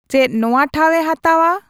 ᱪᱮᱫ ᱱᱚᱶᱟ ᱴᱷᱟᱶᱮ ᱦᱟᱛᱟᱣᱼᱟ